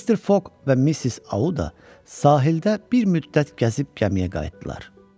Mister Foq və Missis Auda sahildə bir müddət gəzib gəmiyə qayıtdılar.